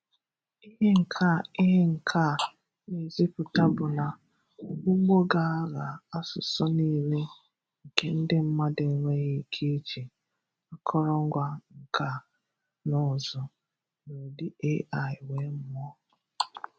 Ihe nke a Ihe nke a na-ezipụta bụ na ụgbọ ga-agha asụsụ niile nke ndị mmadụ enweghị ike iji akọrọngwa nka na ụzụ n'ụdị AI wee mụọ.